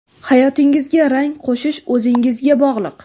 Hayotingizga rang qo‘shish o‘zingizga bog‘liq.